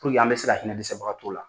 an bɛ se ka hinɛ dɛsɛbagatɔw la.